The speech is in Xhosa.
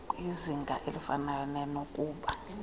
kwizinga elifanayo nenokuba